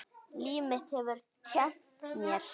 Líf mitt hefur kennt mér.